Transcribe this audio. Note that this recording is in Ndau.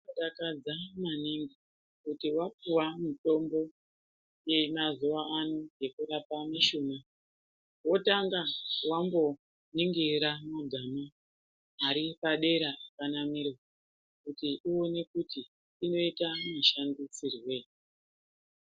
Zvinodakadza maningi kuti wapuwa mutombo yemazuwa ano yekurapa mishuna wotanga wamboningira magama aripadera akanamirwa kuti uone kuti unoita mushandisirwei